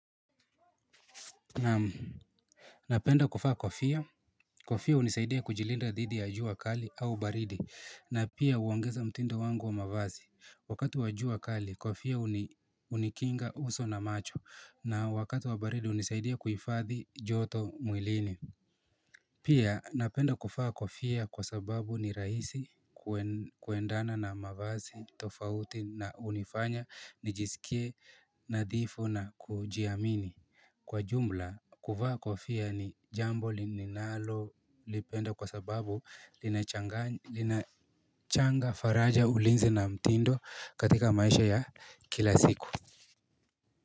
Napenda kuvaa kofia. Kofia hunisaidia kujilinda didi ya jua kali au baridi na pia huongeza mtindo wangu wa mavazi. Wakati wa jua kali, kofia hunikinga uso na macho na wakatu wa baridi hunisaidia kuhifadhi joto mwilini. Pia napenda kuvaa kofia kwa sababu ni rahisi kuendana na mavazi tofauti na hunifanya nijiskie nadhifu na kujiamini. Kwa jumla kuvaa kofia ni jambo lininalo lipenda kwa sababu inachanganya linachanga faraja ulinzi na mtindo katika maisha ya kila siku.